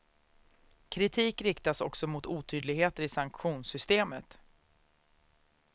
Kritik riktas också mot otydligheter i sanktionssystemet.